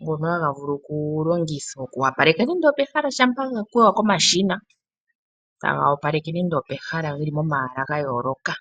.Ngoka haha vulu okulongithwa oku wapaleka pomahala shampa gakwewa komashina ohaga longithwa woo mondundu moka otovulu oku adhamo omamanya gatya ngaaka ngoka haga vulu oku longitha oku wapaleka nando opehala shampa gakwewa komashina taga opaleke pomahala gayoloka.